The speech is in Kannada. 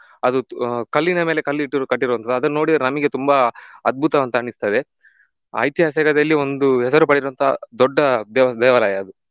ಅದು ಕಲ್ಲಿನ ಮೇಲೆ ಕಲ್ಲಿಟ್ಟುರುವ ಕಟ್ಟಿರುವವಂತದ್ದು ಅದನ್ನ ನೋಡಿದ್ರೆ ನಮಿಗೆ ತುಂಬಾ ಅದ್ಬುತ ಅಂತ ಅನಿಸ್ತದೆ. ಐತಿಹಾಸಿಕದಲ್ಲಿ ಒಂದು ಹೆಸರು ಪಡೆದಿರುವಂತ ದೊಡ್ಡ ದೇವ~ ದೇವಾಲಯ ಅದು.